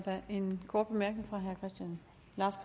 handler om